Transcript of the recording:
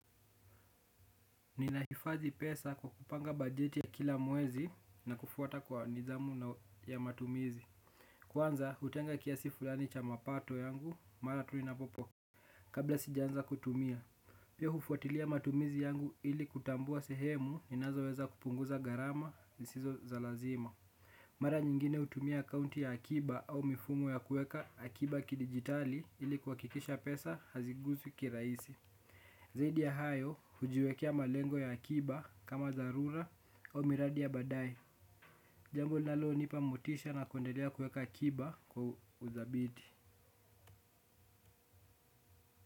Ninahifadhi pesa kwa kupanga bajeti ya kila mwezi na kufuata kwa nidhamu ya matumizi. Kwanza, hutenga kiasi fulani cha mapato yangu mara tu inapo po kabla sijaanza kutumia, pia hufuatilia matumizi yangu ili kutambua sehemu ninazoweza kupunguza gharama zisizo za lazima. Mara nyingine hutumia akounti ya akiba au mifumo ya kuweka akiba kidigitali ili kuhakikisha pesa haziguzwi kirahisi. Zaidi ya hayo, hujiwekea malengo ya akiba kama dharura au miradi ya baadaye. Jambo linalonipa motisha na kuendelea kuweka akiba kwa uthabiti.